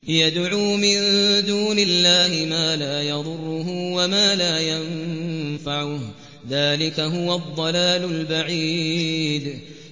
يَدْعُو مِن دُونِ اللَّهِ مَا لَا يَضُرُّهُ وَمَا لَا يَنفَعُهُ ۚ ذَٰلِكَ هُوَ الضَّلَالُ الْبَعِيدُ